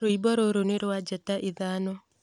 rwĩmbo rũrũ nĩ rwa njata ithano